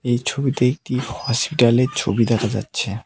এই ছবিতে একটি হসপিটালের ছবি দেখা যাচ্ছে।